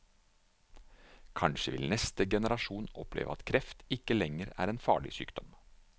Kanskje vil neste generasjon oppleve at kreft ikke lenger er en farlig sykdom.